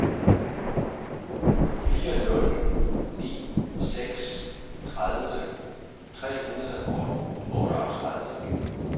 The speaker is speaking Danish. fire nul ni seks tredive tre hundrede og otteogtredive